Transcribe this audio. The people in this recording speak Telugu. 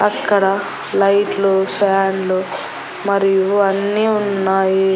అక్కడ లైట్లు ఫ్యాన్లు మరియు అన్నీ ఉన్నాయి.